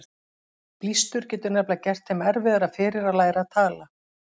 Blístur getur nefnilega gert þeim erfiðara fyrir að læra að tala.